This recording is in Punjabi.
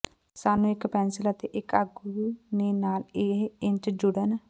ਸਾਨੂੰ ਇੱਕ ਪੈਨਸਿਲ ਅਤੇ ਇੱਕ ਆਗੂ ਨੇ ਨਾਲ ਇਹ ਇੰਚ ਜੁੜਨ